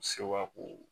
Sewa ko